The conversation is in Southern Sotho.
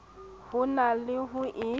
ho na le ho e